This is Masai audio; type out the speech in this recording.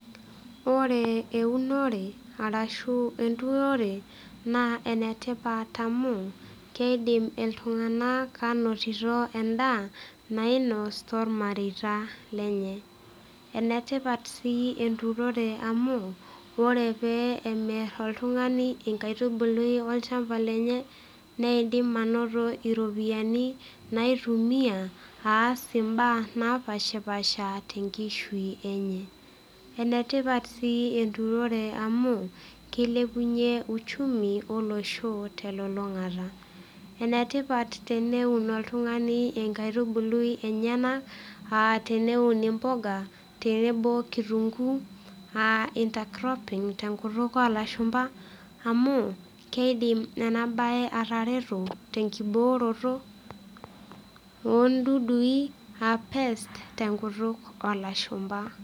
Ore eunore ashu enturore naa enetipat oleng amu kidim iltung'anak anotito endaa nainos tormareita lenye, enetipat sii enturore amu ore pee emir oltung'ani nkaitubulu olchamba lenye neidim anoto iropiyiani naitumia aas imbaa napashpasha tenkishui enye. Enetipat sii enturore amu kilepunyie uchumi olosho telulung'ata. Enetipat teneun oltung'ani enkaitubului enyenak aa teneun imbuga tenebo okitunguu aa inter cropping tenkutuk olashumba amu keidim ena bae atareto tenkibooroto ondudui aa pests tenkutuk olashumba.